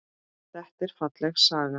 Þetta er falleg saga.